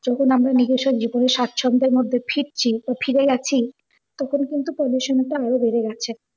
যত মানুষ নিজস্ব স্বাছন্দের মধ্যে ফিরছি বা ফিরে যাচ্ছি তখন কিন্তু pollution টা আর ও বেরে গেছে।